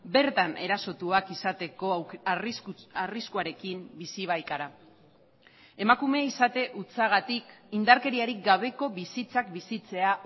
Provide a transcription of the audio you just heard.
bertan erasotuak izateko arriskuarekin bizi baikara emakume izate hutsagatik indarkeriarik gabeko bizitzak bizitzea